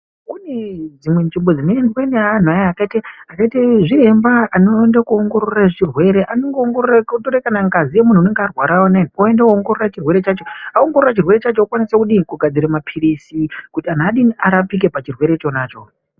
Kunedzimwe nzvimbo dzinoendwa neanhu aya akaite zviremba anoende koongorora zvirwere anongoongorora otore kana ngazi yemunhu unenge arwara uno oende kongorora chirwere chacho aongorora chirwere chacho okwanise kudii kugadzire mapilizi kuti anhu adii arapike pachirwere chonacho.